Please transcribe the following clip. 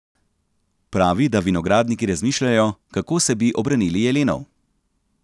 Pravi, da vinogradniki razmišljajo, kako se bi obranili jelenov.